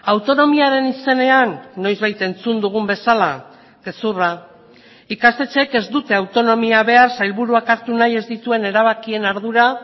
autonomiaren izenean noizbait entzun dugun bezala gezurra ikastetxeek ez dute autonomia behar sailburuak hartu nahi ez dituen erabakien ardura